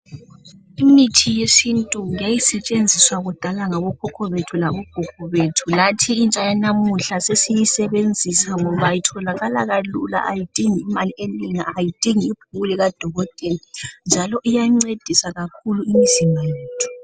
Imithi yesintu yayi setshenziswa kudala ngabokhokho bethu labo gogo bethu lathi intsha yanamuhla sesi yisebenzisa ngoba itholakala kalula ayidingi mali enengi ayidingi ibhuku lika dokotela njalo iyancedisa kakhulu imizimba yethu .